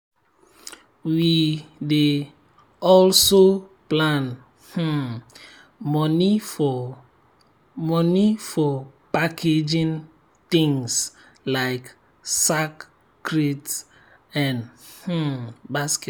we dey also plan um money for money for packaging things like sack crate and um basket.